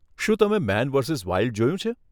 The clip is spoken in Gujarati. શું તમે મેન વર્સિસ વાઈલ્ડ જોયું છે?